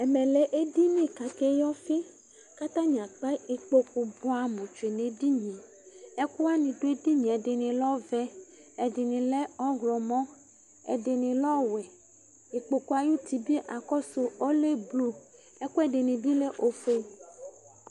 ɛmɛ lɛ eɖiŋi kaka yi ɔfi, katani akpa ikpoku bua mu tè ne ɛɖiniɛkuwani du eɖiŋé lɛ ɔvɛ, ɛɖini lɛ ɔwɛ, ɛdinilɛ ɔyɔmɔ ikpokuwani bi akɔsu ɛkɛdini lɛ ofue